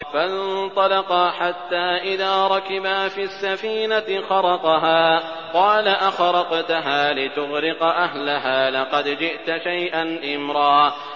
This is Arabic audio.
فَانطَلَقَا حَتَّىٰ إِذَا رَكِبَا فِي السَّفِينَةِ خَرَقَهَا ۖ قَالَ أَخَرَقْتَهَا لِتُغْرِقَ أَهْلَهَا لَقَدْ جِئْتَ شَيْئًا إِمْرًا